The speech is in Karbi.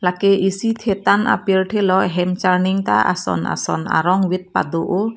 lake isi thetan apirthe lo hem charning ta ason ason arong vit pado oh.